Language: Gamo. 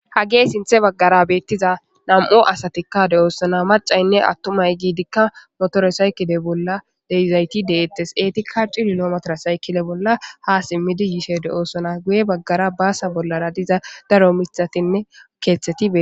Hagee sinthe baggara beettiza nam,o asatikka de oossona macaynne attumay giidikka motore saykide bolla deizayti deettes eeti kacci lilometara saykide bolla ha simmidi yishe de,oossona guye baggara baasa bollara diza daro mithatinne keeththetie.